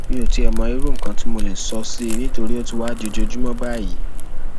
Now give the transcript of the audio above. mi ò tiẹ mọ irú nǹkan tí mo lè sọ sí i nítorí ó ti wáá di ojoojúmọ báyìí